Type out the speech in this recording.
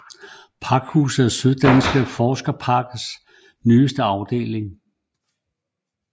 Pakhuset er Syddanske Forskerparkers nyeste afdeling